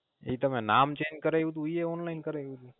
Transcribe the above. ઈ તમે નામ Change કરાઈવું તું ઈ એ Online કરાઈવું તું